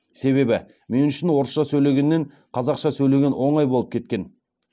себебі мен үшін орысша сөйлегеннен қазақша сөйлеген оңай болып кеткен